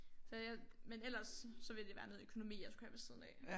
Så jeg men ellers så ville det være noget økonomi jeg skulle have ved siden af